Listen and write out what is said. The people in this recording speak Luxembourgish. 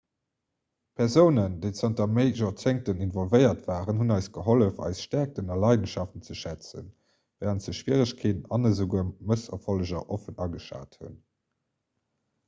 persounen déi zanter méi joerzéngten involvéiert waren hunn eis gehollef eis stäerkten a leidenschaften ze schätzen wärend se schwieregkeeten an esouguer mësserfolleger offen ageschat hunn